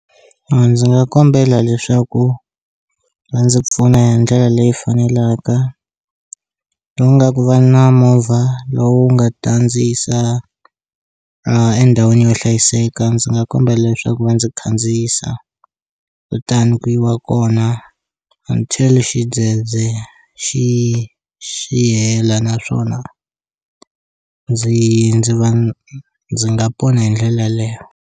A ndzi nga kombela leswaku va ndzi pfuna hi ndlela leyi faneleka lowu nga ku va na movha lowu nga ta ndzi yisa a endhawini yo hlayiseka ndzi nga kombela leswaku va ndzi khandziyisa kutani ku yiwa kona until xidzedze xi xi hela naswona ndzi ndzi va ndzi nga pona hi ndlela leyo.